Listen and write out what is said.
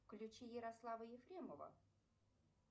включи ярослава ефремова